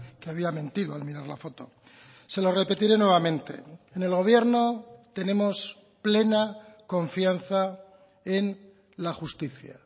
que había mentido al mirar la foto se lo repetiré nuevamente en el gobierno tenemos plena confianza en la justicia